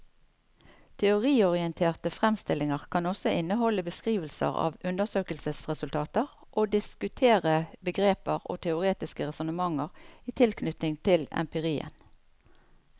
Teoriorienterte fremstillinger kan også inneholde beskrivelser av undersøkelsesresultater og diskutere begreper og teoretiske resonnementer i tilknytning til empirien.